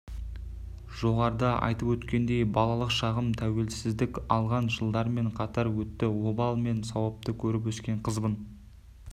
жоғарыда айтып өткендей балалық шағым тәуелсіздік алған жылдармен қатар өтті обал мен сауапты көріп өскен қызбын